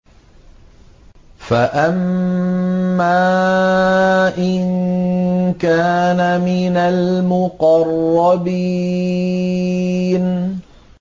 فَأَمَّا إِن كَانَ مِنَ الْمُقَرَّبِينَ